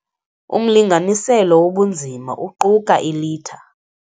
Umlinganiselo wobunzima uquka ilitha.